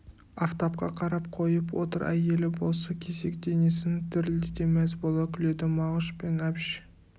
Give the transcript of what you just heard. афтапқа қарап қойып отыр әйелі болса кесек денесін дірілдете мәз бола күледі мағыш пен әбіш